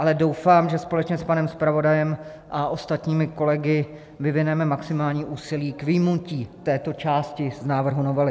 Ale doufám, že společně s panem zpravodajem a ostatními kolegy vyvineme maximální úsilí k vyjmutí této části z návrhu novely.